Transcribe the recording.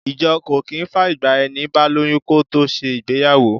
Ìjọ kò kì í fàyègba ẹni bá lóyún kó tó ṣe ìgbéyàwó.